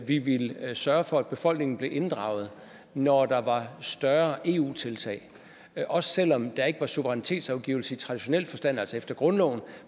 vi ville sørge for at befolkningen blev inddraget når der var større eu tiltag også selv om der ikke var suverænitetsafgivelse i traditionel forstand altså efter grundloven